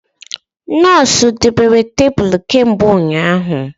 Nọọsụ debere tebụl kemgbe ụnyaahụ